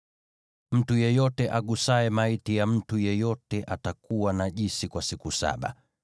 “Mtu yeyote agusaye maiti ya mtu yeyote atakuwa najisi kwa siku saba.